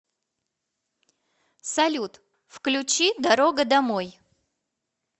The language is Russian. салют включи дорога домой